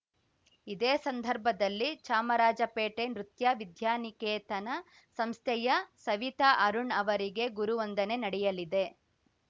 ಇದೇ ಸಂದರ್ಭದಲ್ಲಿ ಚಾಮರಾಜಪೇಟೆ ನೃತ್ಯ ವಿದ್ಯಾನಿಕೇತನ ಸಂಸ್ಥೆಯ ಸವಿತಾ ಅರುಣ್‌ ಅವರಿಗೆ ಗುರುವಂದನೆ ನಡೆಯಲಿದೆ